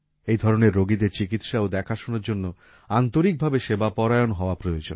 এ ধরনের রোগীদের চিকিৎসা ও দেখাশোনার জন্য আন্তরিকভাবে সেবাপরায়ণ হওয়া প্রয়োজন